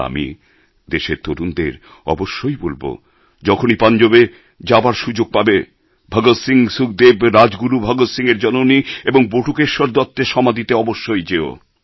আর আমি দেশের তরুণদের অবশ্যই বলব যখনই পাঞ্জাবে যাওয়ার সুযোগ পাবে ভগৎ সিং সুখদেব রাজগুরু ভগৎ সিংয়ের জননী এবং বটুকেশ্বর দত্তের সমাধিতে অবশ্যই যেও